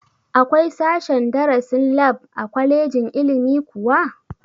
Akwai sashen darasin lab a kwalejin ilimi kuwa?